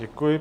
Děkuji.